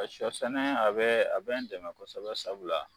Ɔ Sɔ sɛnɛ a be a be n dɛmɛ kosɛbɛ sabula